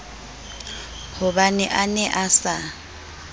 hobane a ne a sa